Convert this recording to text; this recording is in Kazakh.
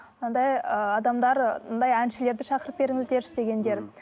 мынандай ыыы адамдар мынандай әншілерді шақырып беріңіздерші дегендер